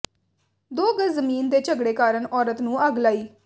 ਦੋ ਗਜ਼ ਜ਼ਮੀਨ ਦੇ ਝਗੜੇ ਕਾਰਨ ਔਰਤ ਨੂੰ ਅੱਗ ਲਾਈ